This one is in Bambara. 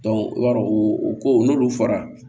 i b'a dɔn o ko n'olu fɔra